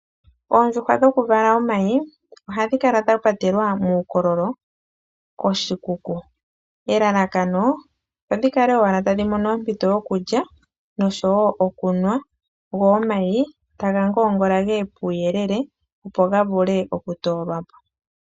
Oondjuhwa dhokuvala omayi ohadhi kala dha patelwa muukololo koshikuku. Elalakano odhi kale owala tadhi mono ompito yokulya noshowo okunwa go omayi taga ngoongola ge ye puuyele opo ga vule okutoolwa po.